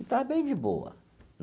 E estava bem de boa.